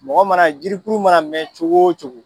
Mɔgɔ mana jirikuru mana mɛn cogo o cogo.